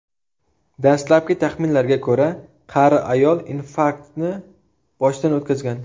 Dastlabki taxminlarga ko‘ra, qari ayol infarktni boshdan o‘tkazgan.